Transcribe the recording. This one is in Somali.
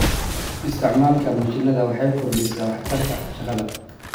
Isticmaalka mashiinada waxay kordhisaa waxtarka shaqada.